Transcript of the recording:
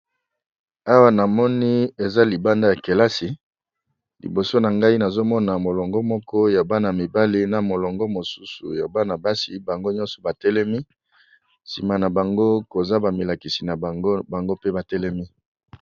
Awa na moni eza libanda ya kelasi liboso na ngai nazomona molongo moko ya bana mibale na molongo mosusu ya banabasi bango nyonso batelemi nsima na bango koza bamilakisi na gbango pe batelemi.